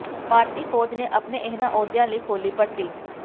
ਭਾਰਤੀ ਫੌਜ ਨੇ ਆਪਣੇ ਇਹਨਾਂ ਅਹੁਦਿਆਂ ਲਈ ਖੋਲ੍ਹੀ ਭਰਤੀ